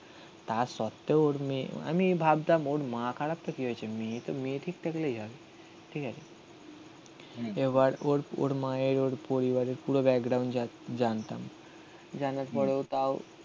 তা সত্ত্বেও ওর মেয়ে আমি ভাবতাম ওর মা খারাপ তো কি হয়েছে মেয়ে তো মেয়ে ঠিক থাকলেই হবে ঠিক আছে. এবার ওর ওর মায়ের ওর পরিবারের পুরো ব্যাকগ্রাউন্ড জানতাম. জানার পরেও তাও